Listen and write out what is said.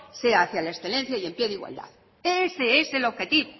sea hacia la excelencia y en pie de igualdad ese es el objetivo